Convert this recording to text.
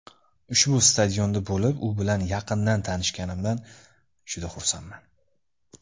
Ushbu stadionda bo‘lib, u bilan yaqindan tanishganimdan juda xursandman.